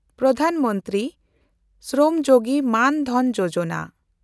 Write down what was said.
Pradhan Mantri Shram Yogi Maandhan Yojana